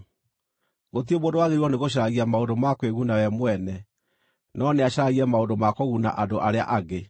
Gũtirĩ mũndũ wagĩrĩirwo nĩgũcaragia maũndũ ma kwĩguna we mwene, no nĩacaragie maũndũ ma kũguna andũ arĩa angĩ.